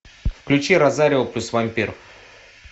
включи розарио плюс вампир